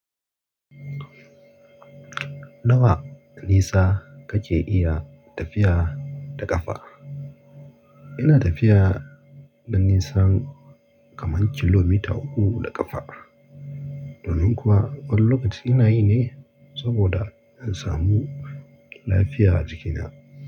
Nawa nisa kake iya tafiya da ƙafa? Ina tafiya da nisan kaman kilomita uku da ƙafa, domin kuwa wani lokaci ina yi ne saboda in samu lafiya a jikina.